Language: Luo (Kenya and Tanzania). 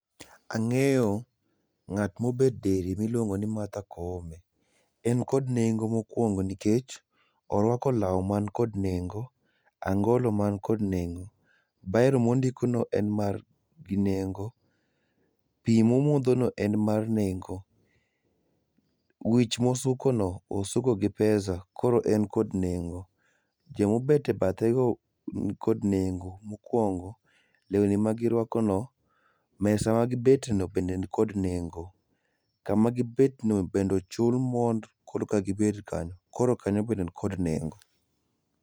Angeyo ngat mobet diere miluongo ni Martha Koome, en kod nego mokuongo nikech orwako law man kod nengo, angolo man kod nengo, biro mondikogo no en mar nengo, pii momodho no en mar nengo ,wich mosuko no suko gi pesa koro en kod nengo. Joma obet e bathe go nikod nengo, mokuongo lewni magirwako no, mesa magibet no beni kod nengo, kama gibet no bende ochul mond korka gibet kanyo, koro kanyo be nikod nengo